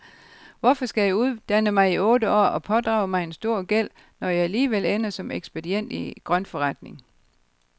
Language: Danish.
Hvorfor skal jeg uddanne mig i otte år og pådrage mig en stor gæld, når jeg alligevel ender som ekspedient i grøntforretning?